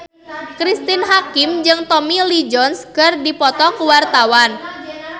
Cristine Hakim jeung Tommy Lee Jones keur dipoto ku wartawan